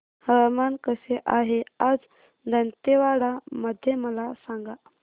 हवामान कसे आहे आज दांतेवाडा मध्ये मला सांगा